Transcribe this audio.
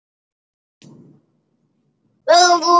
Þá hætti ég.